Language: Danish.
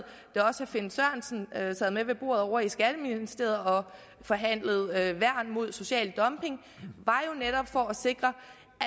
da også herre finn sørensen sad med ved bordet ovre i skatteministeriet og forhandlede værn mod social dumping var jo netop for at sikre